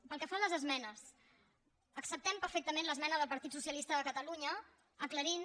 pel que fa a les esmenes acceptem perfecta·ment l’esmena del partit socialista de catalunya acla·rint